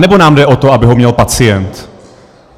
Anebo nám jde o to, aby ho měl pacient?